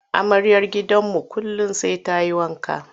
Amaryar gidanmu kullum sai ta yi wanka.